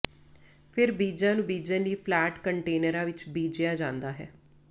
ਫਿਰ ਬੀਜਾਂ ਨੂੰ ਬੀਜਣ ਲਈ ਫਲੈਟ ਕੰਟੇਨਰਾਂ ਵਿੱਚ ਬੀਜਿਆ ਜਾਂਦਾ ਹੈ